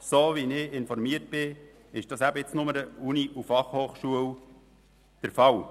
Gemäss meinen Informationen ist das derzeit nur an der Universität Bern und der Fachhochschule Bern (BFH) der Fall.